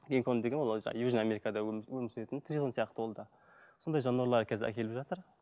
гинкон деген ол южный америкада өмір сүретін тритон сияқты ол да сондай жануарлар қазір әкеліп жатыр